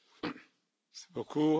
The debate is closed.